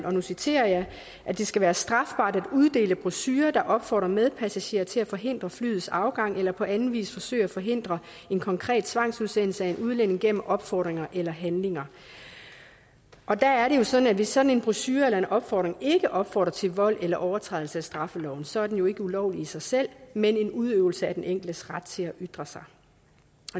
og nu citerer jeg at det skal være strafbart at uddele brochurer der opfordrer medpassagerer til at forhindre flyets afgang eller på anden vis at forsøge at forhindre en konkret tvangsudsendelse af en udlænding gennem opfordringer eller handlinger og der er det jo sådan at hvis sådan en brochure eller opfordring ikke opfordrer til vold eller overtrædelse af straffeloven så er den jo ikke ulovlig i sig selv men en udøvelse af den enkeltes ret til at ytre sig